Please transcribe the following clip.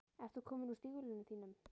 Ert þú kominn úr stígvélunum þínum?